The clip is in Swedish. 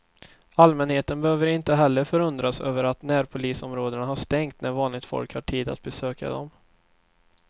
Allmänheten behöver inte heller förundras över att närpolisområdena har stängt när vanligt folk har tid att besöka dem.